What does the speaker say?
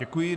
Děkuji.